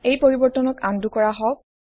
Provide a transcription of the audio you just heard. এই পৰিবৰ্তনক আন্ডু কৰা হওঁক